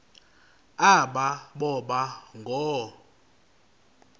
aba boba ngoo